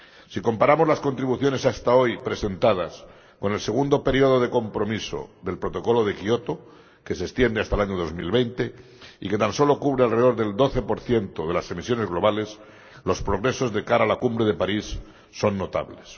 Si comparamos las contribuciones hasta hoy presentadas con el segundo periodo de compromiso del Protocolo de Kioto —que se extiende hasta el año 2020 y que tan solo cubre alrededor del 12 de las emisiones globales—, los progresos de cara a la cumbre de París son notables.